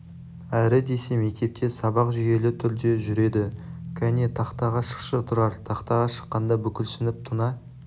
әрі десе мектепте сабақ жүйелі түрде жүреді кәне тақтаға шықшы тұрар тақтаға шыққанда бүкіл сынып тына